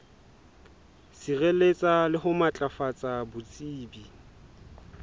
sireletsa le ho matlafatsa botsebi